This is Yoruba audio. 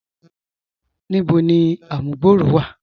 Níbò ni àmùgbọ̀rọ̀ wa?